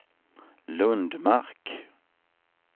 Lundmark